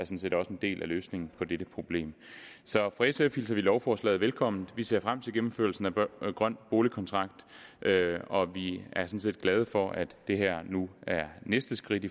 set også en del af løsningen på dette problem så fra sfs vi lovforslaget velkommen vi ser frem til gennemførelsen af grøn boligkontrakt og vi er sådan set glade for at det her nu er næste skridt